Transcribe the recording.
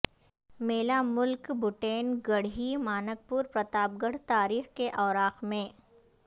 میلہ ملک بٹین گڈھی مانکپورپرتاپگڈھ تاریخ کے اوراق میں